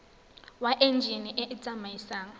wa enjine e e tsamaisang